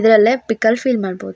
ಇದ್ರಲ್ಲೆ pickle feel ಮಾಡ್ಬೋದು.